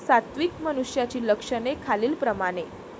सात्विक मनुष्याची लक्षणे खालील प्रमाणे.